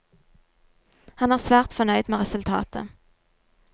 Han er svært fornøyd med resultatet.